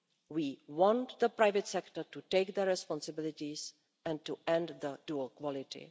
We want the private sector to take their responsibilities and to end dual quality.